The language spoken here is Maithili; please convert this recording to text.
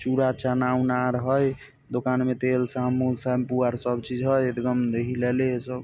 चुरा चना उना आर हेय दोकान में तेल साबुन शैम्पू आर सब चीज हेय लेले हेय सब।